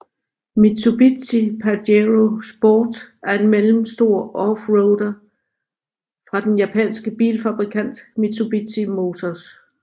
Mitsubishi Pajero Sport er en mellemstor offroader fra den japanske bilfabrikant Mitsubishi Motors